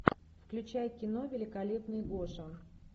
включай кино великолепный гоша